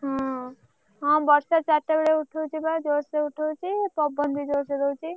ହଁ ହଁ ବର୍ଷା ଚାରିଟା ବେଳେ ଉଠଉଛି ବା ଜୋରସେ ଉଠଉଛି ପବନ ବି ଜୋରସେ ଦଉଛି।